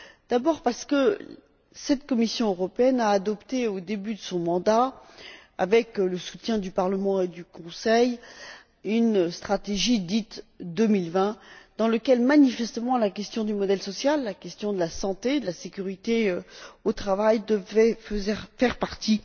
D'abord, parce que cette Commission européenne a adopté, au début de son mandat, avec le soutien du Parlement et du Conseil, une stratégie dite Europe 2020, dont, manifestement, la question du modèle social, la question de la santé et de la sécurité au travail devaient faire partie.